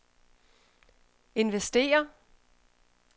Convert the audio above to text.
investere